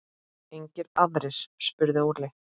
Engir aðrir? spurði Óli.